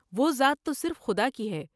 وہ ذات تو صرف خدا کی ہے ۔